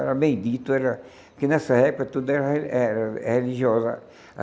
Era meio dito era, que nessa época tudo era era é religiosa.